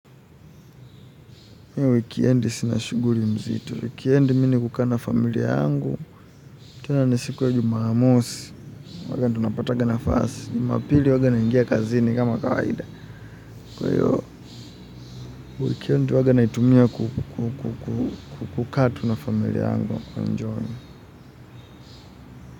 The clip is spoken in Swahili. Wikiendi sina shughuli mzito. Wikiendi mi ni kukaa na familia yangu. Tena ni siku ya jumamosi. Huaga tunapatakaga nafasi. Jumapili huaga naingia kazini kama kawaida. Kwa hiyo wikendi huaga naitumia kukaa tu na familia yangu kuenjoy.